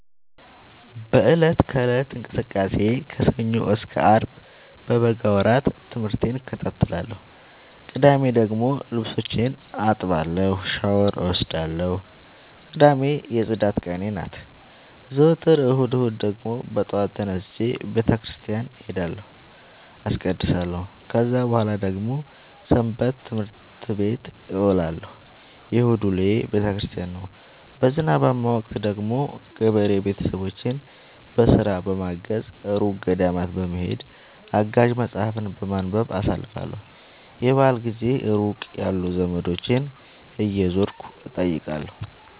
በእለት ከእለት እንቅስቃሴዬ ከሰኞ እስከ አርብ በበጋ ወራት ትምህርቴን እከታተላለሁ። ቅዳሜ ደግሞ ልብሶቼን አጥባለሁ ሻውር እወስዳለሁ ቅዳሜ የፅዳት ቀኔ ናት። ዘወትር እሁድ እሁድ ደግሞ በጠዋት ተነስቼ በተክርስቲያን እሄዳለሁ አስቀድሳሁ። ከዛ በኃላ ደግሞ ሰበትምህርት ቤት እውላለሁ የእሁድ ውሎዬ ቤተክርስቲያን ነው። በዝናባማ ወቅት ደግሞ ገበሬ ቤተሰቦቼን በስራ በማገ፤ እሩቅ ገዳማት በመሄድ፤ አጋዥ መፀሀፍትን በማንበብ አሳልፍለሁ። የበአል ጊዜ ሩቅ ያሉ ዘመዶቼን እየዞርኩ እጠይቃለሁ።